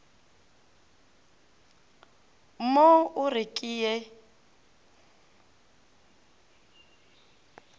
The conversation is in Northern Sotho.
mo o re ke ye